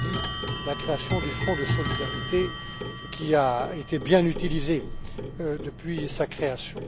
Prodi, la création du Fonds de solidarité, qui a été bien utilisé depuis sa création.